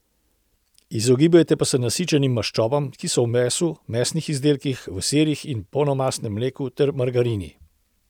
Izogibajte pa se nasičenim maščobam, ki so v mesu in mesnih izdelkih, v sirih in polnomastnem mleku ter margarini.